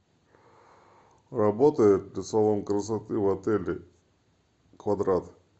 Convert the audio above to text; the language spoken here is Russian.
работает салон красоты в отеле квадрат